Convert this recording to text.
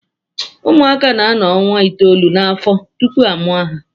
Ụmụaka na-anọ ọnwa itoolu n'afọ tupu a mụọ ha